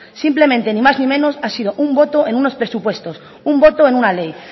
simplemente ni más ni menos ha sido un voto en unos presupuestos un voto en una ley